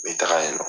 Me taga yen nɔ